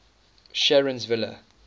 sharonsville